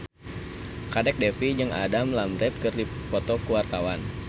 Kadek Devi jeung Adam Lambert keur dipoto ku wartawan